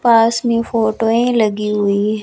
पास में फोटोएं लगी हुई हैं।